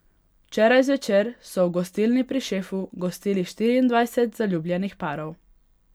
Včeraj zvečer so v Gostilni pri Šefu gostili štiriindvajset zaljubljenih parov.